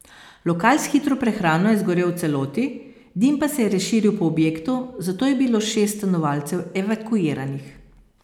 Lokal s hitro prehrano je zgorel v celoti, dim pa se je razširil po objektu, zato je bilo šest stanovalcev evakuiranih.